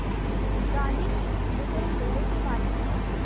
गांधी के इस ब्रिटेन दौरे के बारे में